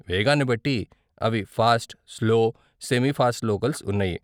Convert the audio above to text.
వేగాన్ని బట్టి అవి fast, slow, semi fast locals ఉన్నాయి.